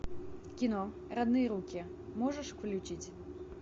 кино родные руки можешь включить